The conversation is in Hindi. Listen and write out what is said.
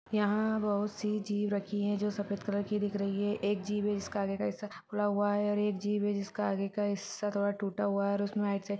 यह बहुत सी जीप रखी है जो सफेद कलर की दिख रही है एक जीप है जिसके आगे का हिस्सा खुला हुआ है और एक जीप है जिसका आगे का हिस्सा थोड़ा टूटा हुआ है और उसमें --